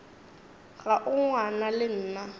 ga o ngwana le nna